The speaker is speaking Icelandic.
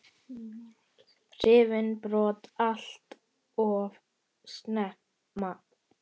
Hrifinn brott allt of snemma.